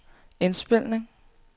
indspilning